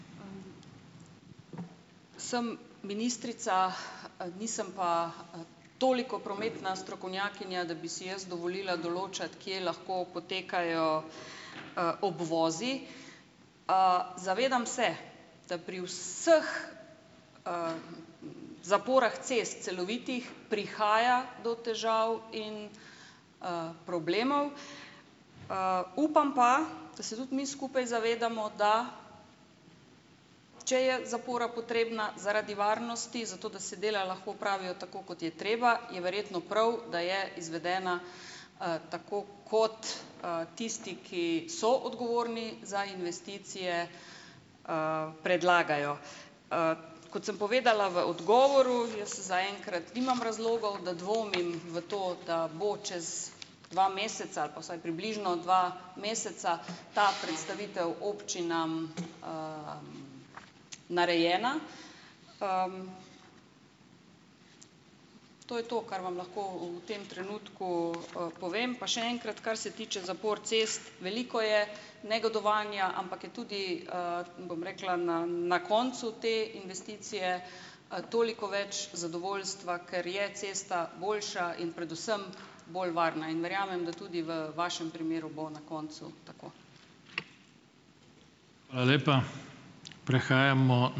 Sem ministrica, nisem pa toliko prometna strokovnjakinja, da bi si jaz dovolila določati, kje lahko potekajo, obvozi. Zavedam se, da pri vseh zaporah cest celovitih, prihaja do težav in, problemov. Upam pa, da se tudi mi skupaj zavedamo, da, če je zapora potrebna zaradi varnosti, zato da se dela lahko opravijo, tako kot je treba, je verjetno prav, da je izvedena, tako kot, tisti, ki so odgovorni za investicije, predlagajo. Kot sem povedala v odgovoru, jaz zaenkrat nimam razlogov, da dvomim v to, da bo čez dva meseca ali pa vsaj približno dva meseca ta predstavitev občinam, narejena. To je to, kar vam lahko v tem trenutku, povem. Pa še enkrat, kar se tiče zapor cest. Veliko je negodovanja, ampak je tudi, bom rekla, na na koncu te investicije, toliko več zadovoljstva, ker je cesta boljša in predvsem bolj varna. In verjamem, da tudi v vašem primeru bo na koncu tako.